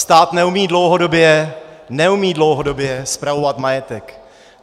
Stát neumí dlouhodobě - neumí dlouhodobě - spravovat majetek.